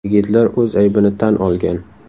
Yigitlar o‘z aybini tan olgan.